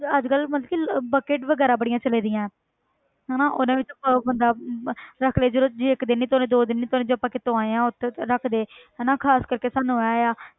ਅੱਜ ਕੱਲ੍ਹ ਮਤਲਬ ਕਿ ਲ~ bucket ਵਗ਼ੈਰਾ ਬੜੀਆਂ ਚੱਲਦੀਆਂ ਹਨਾ ਉਹਨਾਂ ਵਿੱਚ ਪਾਓ ਬੰਦਾ ਰੱਖ ਲਏ ਚਲੋ ਜੇ ਇੱਕ ਦਿਨ ਨੀ ਧੌਣੇ ਦੋ ਦਿਨ ਨੀ ਧੌਣੇ ਜੇ ਆਪਾਂ ਕਿਤੋਂ ਆਏ ਹਾਂ ਉਹਦੇ ਵਿੱਚ ਰੱਖ ਦੇ ਹਨਾ ਖ਼ਾਸ ਕਰਕੇ ਸਾਨੂੰ ਇਹ ਆ